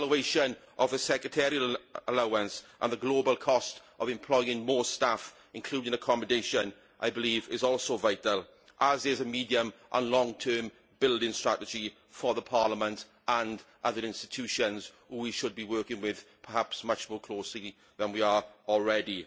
An evaluation of a secretarial allowance and the global cost of employing more staff, including accommodation, I believe is also vital, as is a medium and long term building strategy for the Parliament and other institutions which perhaps we should be working with much more closely than we are already.